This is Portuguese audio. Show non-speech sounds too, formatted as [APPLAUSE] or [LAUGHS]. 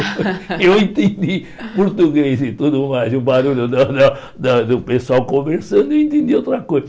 [LAUGHS] Eu entendi português e tudo mais, e o barulho da da da do pessoal conversando, eu entendi outra